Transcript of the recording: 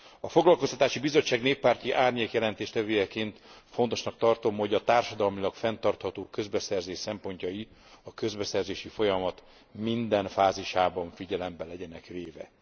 A Foglalkoztatási Bizottság néppárti árnyék jelentéstevőjeként fontosnak tartom, hogy a társadalmilag fenntartható közbeszerzés szempontjai a közbeszerzési folyamat minden fázisában figyelembe legyenek véve.